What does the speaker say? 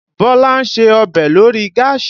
Bọ́lá ń ṣe ọbẹ̀ lórí gáàsì